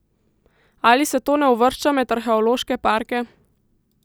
Ali se to ne uvršča med arheološke parke?